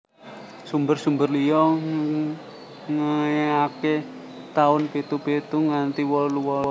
Sumber sumber liyo nge iake taun pitu pitu nganti wolu wolu